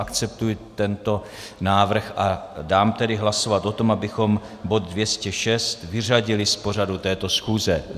Akceptuji tento návrh a dám tedy hlasovat o tom, abychom bod 206 vyřadili z pořadu této schůze.